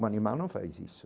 O Manimá não faz isso.